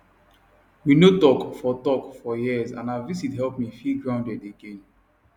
we no talk for talk for years and her visit help me feel grounded again